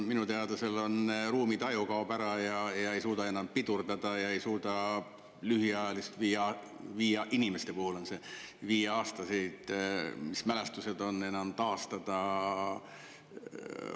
Minu teada ruumitaju kaob ära ja ei suudeta enam pidurdada ega suudeta lühiajalisi – inimeste puhul on see nii –, viieaastaseid mälestusi enam taastada.